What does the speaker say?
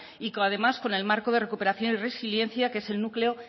y además con el marco de recuperación y resiliencia que es el núcleo